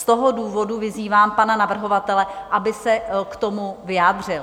Z toho důvodu vyzývám pana navrhovatele, aby se k tomu vyjádřil.